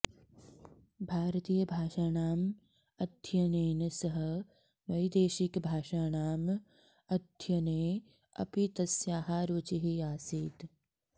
भारतीयभाषाणाम् अध्ययनेन सह वैदेशिकभाषाणाम् अध्ययने अपि तस्याः रुचिः आसीत्